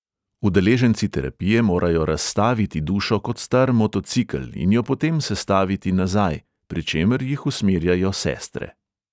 Udeleženci terapije morajo razstaviti dušo kot star motocikel in jo potem sestaviti nazaj, pri čemer jih usmerjajo sestre.